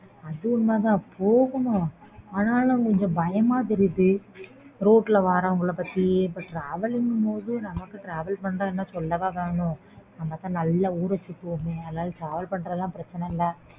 க்காக தானஅது உண்மை தான் போகணும் ஆனா நம்மக்கு travel பண்றதுன்னா சொல்லவா வேணும் நம்ப நல்லா ஊற சுத்துவோம் அதனால travel பண்றதெல்லா பிரச்னை இல்ல